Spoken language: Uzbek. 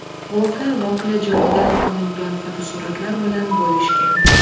Guvohlar voqea joyidan olingan fotosuratlar bilan bo‘lishgan .